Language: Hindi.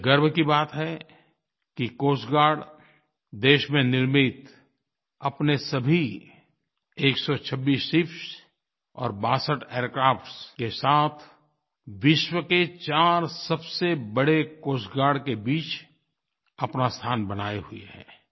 ये गर्व की बात है कि कोस्ट गार्ड देश में निर्मित अपने सभी 126 शिप्स और 62 एयरक्राफ्ट्स के साथ विश्व के 4 सबसे बड़े कोस्ट गार्ड के बीच अपना स्थान बनाए हुए है